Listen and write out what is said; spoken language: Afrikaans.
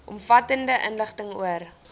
omvattende inligting oor